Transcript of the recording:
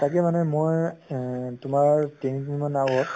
তাকে মানে মই এহ তোমাৰ তিনি দিন মান আগত